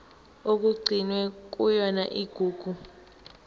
okugcinwe kuyona igugu